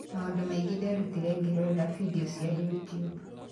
Maũndũ mangĩ nderutire ngĩrorera vidio cia YouTube".